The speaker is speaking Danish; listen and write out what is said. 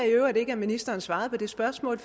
i øvrigt ikke at ministeren svarede på mit spørgsmål